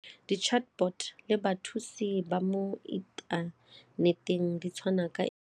Di-chatbot le bathusi ba mo inthaneteng di tshwana ka.